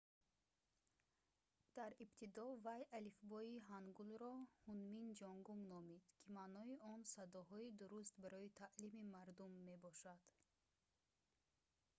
дар ибтидо вай алифбои ҳангулро «ҳунмин ҷонгум» номид ки маънои он «садоҳои дуруст барои таълими мардум» мебошад